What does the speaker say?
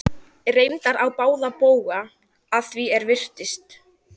Reyndar á báða bóga að því er virtist.